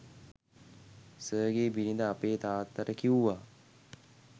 සර්ගේ බිරිඳ අපේ තාත්තට කිව්වා